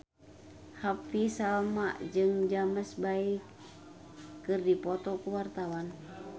Happy Salma jeung James Bay keur dipoto ku wartawan